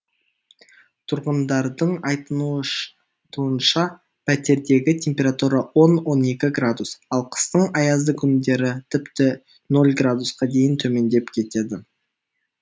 тұрғындардың айтуынша пәтердегі температура он он екі градус ал қыстың аязды күндері тіпті ноль градусқа дейін төмендеп кетеді